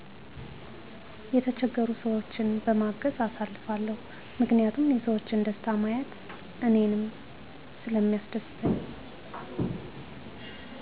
የተቸገሩ ሰዎችን በማገዝ አሳልፋለው ምክንያቱም የሰዎችን ደስታ ማየት እኔንም ሰለሚያስደስተኝ